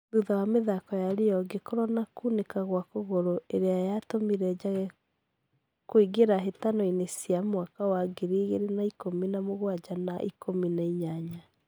Thutha wa mithako ya Rio , gekorwo na kuunika gwa kũgũru ĩrĩa ya tũmire njage kuigera hĩtano-inĩ cia mwaka wa ngiri igĩrĩ na ikũmi na mũgwaja na ikũmi na inyanya.